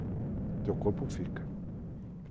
O teu corpo fica.